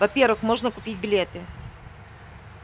во-первых можно купить билеты